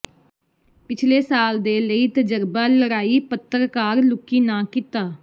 ਪਿਛਲੇ ਸਾਲ ਦੇ ਲਈ ਤਜਰਬਾ ਲੜਾਈ ਪੱਤਰਕਾਰ ਲੁਕੀ ਨਾ ਕੀਤਾ